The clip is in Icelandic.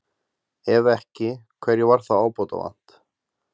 Ef ekki, hverju var þá ábótavant?